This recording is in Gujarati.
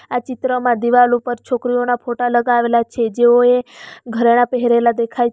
આ ચિત્રમાં દિવાલ ઉપર છોકરીઓના ફોટા લગાવેલા છે જેઓ એ ઘરેણા પહેરેલા દેખાય --